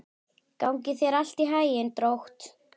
Gangi þér allt í haginn, Drótt.